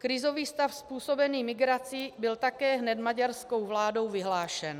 Krizový stav způsobený migrací byl také hned maďarskou vládou vyhlášen.